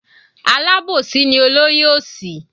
Alábòsí ni olóyè òsì.